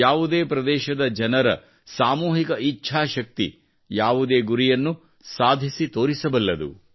ಯಾವುದೇ ಪ್ರದೇಶದ ಜನರ ಸಾಮೂಹಿಕ ಇಚ್ಛಾಶಕ್ತಿ ಯಾವುದೇ ಗುರಿಯನ್ನು ಸಾಧಿಸಿ ತೋರಿಸಬಲ್ಲುದು